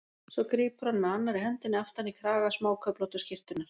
Svo grípur hann með annarri hendinni aftan í kraga smáköflóttu skyrtunnar.